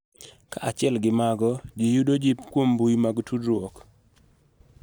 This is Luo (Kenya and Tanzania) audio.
Kaachiel gi mago, ji yudo jip kuom mbui mag tudruok